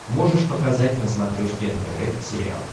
можешь показать на смотрешке нтв сериал